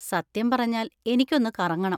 സത്യം പറഞ്ഞാൽ, എനിക്കൊന്ന് കറങ്ങണം.